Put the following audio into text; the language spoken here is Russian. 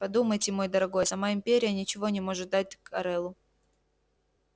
подумайте мой дорогой сама империя ничего не может дать корелу